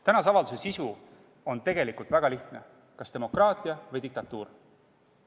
Tänase avalduse sisu on tegelikult väga lihtne: kas demokraatia või diktatuur?